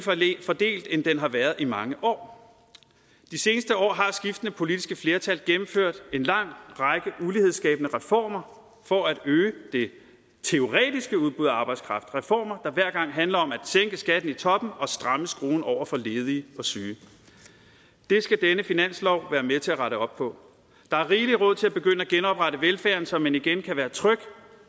fordelt end den har været i mange år de seneste år har skiftende politiske flertal gennemført en lang række ulighedsskabende reformer for at øge det teoretiske udbud af arbejdskraft reformer der hver gang handler om at sænke skatten i toppen og stramme skruen over for ledige og syge det skal denne finanslov være med til at rette op på der er rigelig råd til at begynde at genoprette velfærden så man igen kan være tryg